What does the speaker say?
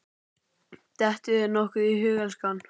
Dettur þér nokkuð í hug, elskan?